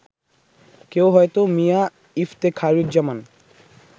কেউ হয়তো মিয়া ইফতেখারুজ্জামান